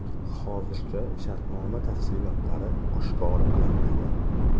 Hozircha shartnoma tafsilotlari oshkor qilinmagan.